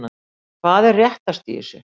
Hvað er réttast í þessu?